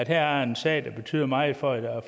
her er en sag der betyder meget for